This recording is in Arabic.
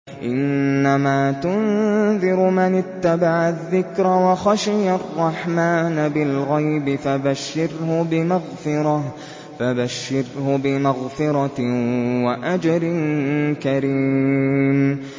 إِنَّمَا تُنذِرُ مَنِ اتَّبَعَ الذِّكْرَ وَخَشِيَ الرَّحْمَٰنَ بِالْغَيْبِ ۖ فَبَشِّرْهُ بِمَغْفِرَةٍ وَأَجْرٍ كَرِيمٍ